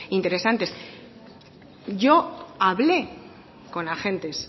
interesantes yo hablé con agentes